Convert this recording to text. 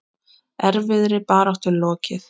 Erfiðri baráttu er lokið.